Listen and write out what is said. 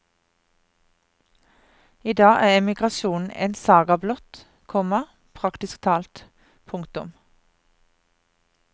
I dag er emigrasjonen en saga blott, komma praktisk talt. punktum